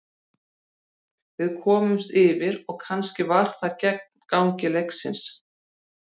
Við komumst yfir og kannski var það gegn gangi leiksins.